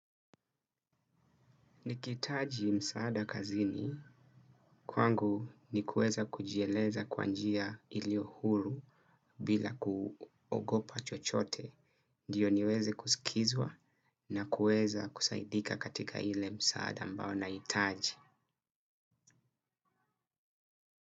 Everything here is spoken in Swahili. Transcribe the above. Nikitaji msaada kazini, kwangu ni kueza kujieleza kwa njia ilio huru bila kuogopa chochote, ndiyo niweze kusikizwa na kueza kusaidika katika ile msaada ambao na itaji.